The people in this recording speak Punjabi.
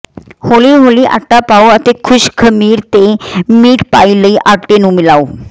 ਹੌਲੀ ਹੌਲੀ ਆਟਾ ਪਾਉ ਅਤੇ ਖੁਸ਼ਕ ਖਮੀਰ ਤੇ ਮੀਟ ਪਾਈ ਲਈ ਆਟੇ ਨੂੰ ਮਿਲਾਓ